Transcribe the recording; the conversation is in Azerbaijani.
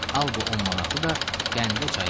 Al bu 10 manatı da qəndəçaya ver.